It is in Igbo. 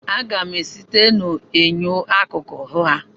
Aga m esite n'enyo akụkụ hụ ha.